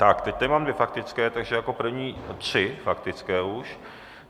Tak teď tady mám dvě faktické, takže jako první - tři faktické už.